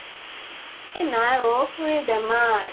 এ নাই অʼ । খুৰী ৰ বেমাৰ ।